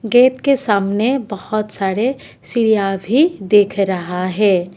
Gate के सामने बहुत सारे सीढ़ियां भी दिख रहा है।